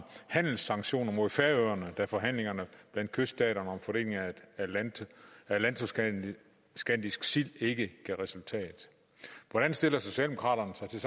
handelssanktioner mod færøerne da forhandlingerne mellem kyststaterne om fordelingen af atlanto skandisk sild ikke gav resultat hvordan stiller socialdemokraterne sig til